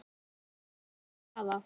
Bið að heilsa afa.